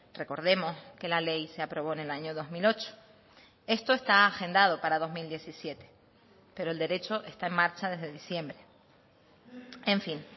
recordemos que la ley se aprobó en el año dos mil ocho esto está agendado para dos mil diecisiete pero el derecho está en marcha desde diciembre en fin